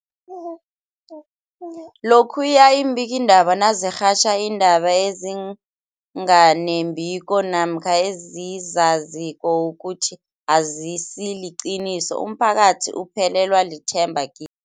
Lokhuya iimbikiindaba nazirhatjha iindaba ezinga nembiko namkha ezizaziko ukuthi azisiliqiniso, umphakathi uphelelwa lithemba ki